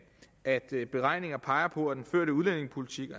at beregninger peger på at den førte udlændingepolitik